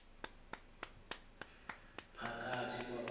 phakathi kwa bantu